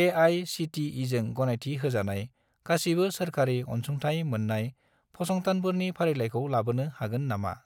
ए.आइ.सि.टि.इ.जों गनायथि होजानाय गासिबो सोरखारि अनसुंथाइ मोन्नाय फसंथानफोरनि फारिलाइखौ लाबोनो हागोन नामा?